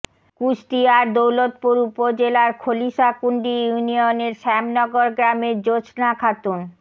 কুষ্টিয়ার দৌলতপুর উপজেলার খলিশাকুণ্ডী ইউনিয়নের শ্যামনগর গ্রামের জোছনা খাতুন